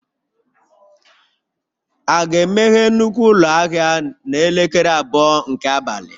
A ga-emeghe nnukwu ụlọ ahịa n'elekere abụọ nke abalị?